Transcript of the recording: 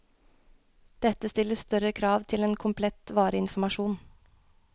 Dette stiller større krav til en komplett vareinformasjon.